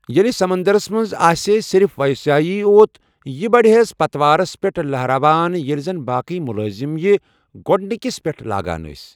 ییٚلہِ سمندرس منٛز آسِہے صرف وائسرایی یوت یہِ بڈِہیٚس پتوارس پیٹھ لہراوان، ییلہِ زن باقٕی مُلٲزم یہِ گوڈنِكِس پیٹھ لاگان ٲسۍ ۔